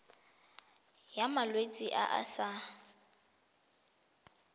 ya malwetse a a sa